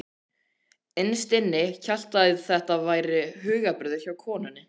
Innst inni hélt ég að þetta væri hugarburður hjá konunni.